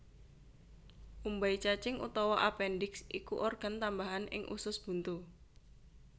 Umbai cacing utawa apendiks iku organ tambahan ing usus buntu